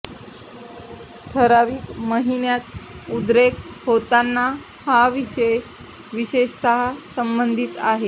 ठराविक महिन्यांत उद्रेक होताना हा विषय विशेषतः संबंधित आहे